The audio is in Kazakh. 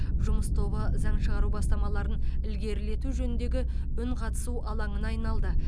жұмыс тобы заң шығару бастамаларын ілгерілету жөніндегі үнқатысу алаңына айналды